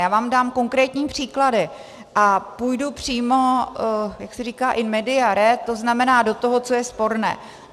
Já vám dám konkrétní příklady a půjdu přímo, jak se říká, in media res, to znamená do toho, co je sporné.